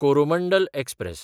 Coromandel express